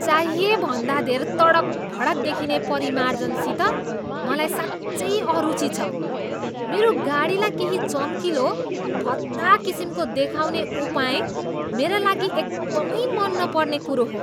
चाहिए भन्दा धेर तडक भडक देखिने परिमार्जनसित मलाई साँच्चै अरुची छ। मेरो गाडीलाई केही चम्किलो, भद्दा किसिमको देखाउने उपाय मेरा लागि एकदमै मन नपर्ने कुरो हो।